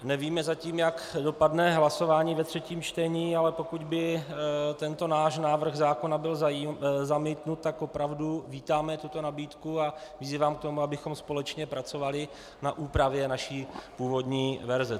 Nevíme zatím, jak dopadne hlasování ve třetím čtení, ale pokud by tento náš návrh zákona byl zamítnut, tak opravdu vítáme tuto nabídku a vyzývám k tomu, abychom společně pracovali na úpravě naší původní verze.